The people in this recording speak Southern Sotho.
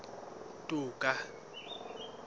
toka